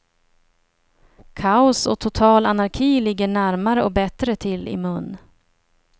Kaos och total anarki ligger närmare och bättre till i mun.